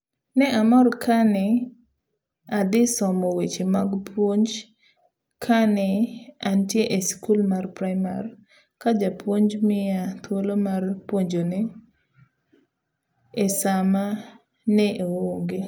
Ne amor kane adhi somo weche mag puonj kane antie esikul mar praimar ka japuonj miya thuolo mar puonjone esama ne oonge.